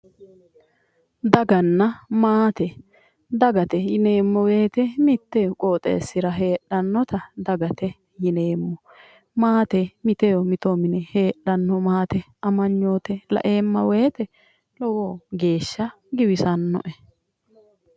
Daganna maate dagate yineemmoti mittu qoxeessira heedhannota dagate yineemmo maate mito mito mine heedhanno amaynoote laeema weete lowo geeshsha giwisannoe